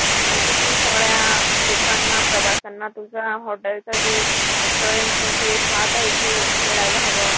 म्हणजे कि सगळ्या लोकांना, प्रवास्यांना तुझा hotel च जे, restaurant च जे स्वाद आहे ते मिळायला हवं.